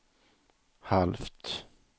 halvt